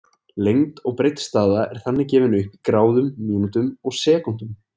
Lengd og breidd staða er þannig gefin upp í gráðum, mínútum og sekúndum.